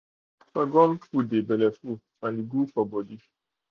sorghum food dey belleful and e good for body.